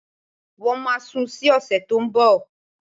Wọ́n máa sun ún sí ọ̀sẹ̀ tó ń bọ̀